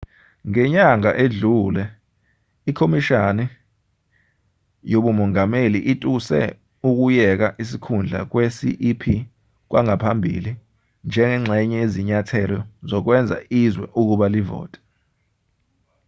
ngenyanga edlule ikhomishani yobumongameli ituse ukuyeka isikhundla kwe-cep kwangaphambili njengengxenye yezinyathelo zokwenza izwe ukuba livote